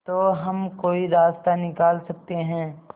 तो हम कोई रास्ता निकाल सकते है